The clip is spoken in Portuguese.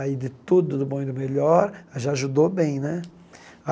Aí de tudo do bom e do melhor, já ajudou bem né.